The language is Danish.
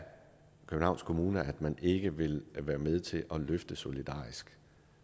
københavns kommune ikke vil være med til at løfte solidarisk